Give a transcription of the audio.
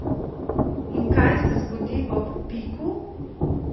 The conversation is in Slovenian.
In kaj se zgodi ob piku?